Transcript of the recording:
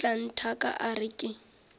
tla nthaka a re ke